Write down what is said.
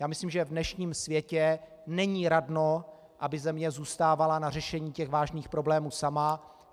Já myslím, že v dnešním světě není radno, aby země zůstávala na řešení těch vážných problémů sama.